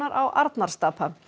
á Arnarstapa